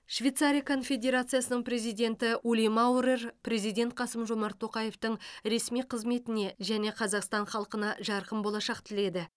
швейцария конфедерациясының президенті ули маурер президент қасым жомарт тоқаевтың ресми қызметіне және қазақстан халқына жарқын болашақ тіледі